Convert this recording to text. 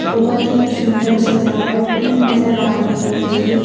बहुत ही सुंदर सजावट नजर आ रही है मुझे।